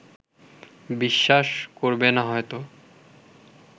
বিশ্বাস করবে না হয়তো